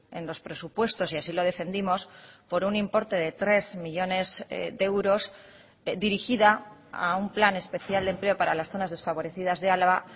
en los presupuestos y así lo defendimos por un importe de tres millónes de euros dirigida a un plan especial de empleo para las zonas desfavorecidas de álava